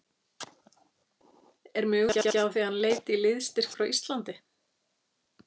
Er möguleiki á því að hann leiti í liðsstyrk frá Íslandi?